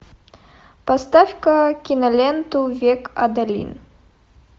поставь ка киноленту век адалин